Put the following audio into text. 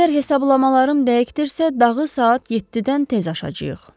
Əgər hesablamalarım dəqiqdirsə, dağı saat 7-dən tez aşacağıq.